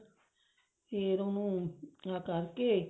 ਫ਼ੇਰ ਉਹਨੂੰ ਆ ਕਰਕੇ